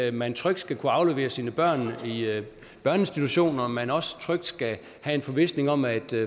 at man trygt skal kunne aflevere sine børn i børneinstitutioner men også trygt skal have en forvisning om at